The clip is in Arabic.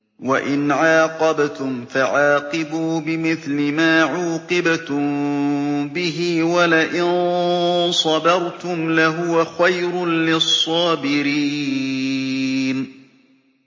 وَإِنْ عَاقَبْتُمْ فَعَاقِبُوا بِمِثْلِ مَا عُوقِبْتُم بِهِ ۖ وَلَئِن صَبَرْتُمْ لَهُوَ خَيْرٌ لِّلصَّابِرِينَ